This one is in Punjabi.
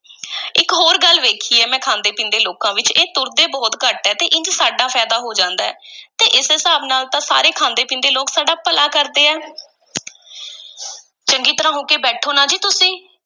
ਇੱਕ ਹੋਰ ਗੱਲ ਵੇਖੀ ਹੈ ਮੈਂ ਖਾਂਦੇ-ਪੀਂਦੇ ਲੋਕਾਂ ਵਿੱਚ, ਇਹ ਤੁਰਦੇ ਬਹੁਤ ਘੱਟ ਹੈ ਤੇ ਇੰਜ ਸਾਡਾ ਫ਼ਾਇਦਾ ਹੋ ਜਾਂਦਾ ਹੈ ਤੇ ਇਸ ਹਿਸਾਬ ਨਾਲ ਤਾਂ ਸਾਰੇ ਖਾਂਦੇ-ਪੀਂਦੇ ਲੋਕ ਸਾਡਾ ਭਲਾ ਕਰਦੇ ਹੈ ਚੰਗੀ ਤਰ੍ਹਾਂ ਹੋ ਕੇ ਬੈਠੋ ਨਾ ਜੀ ਤੁਸੀਂ।